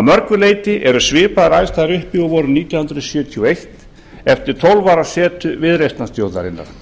að mörgu leyti eru svipaðar aðstæður uppi og voru nítján hundruð sjötíu og eitt eftir tólf ára setu viðreisnarstjórnarinnar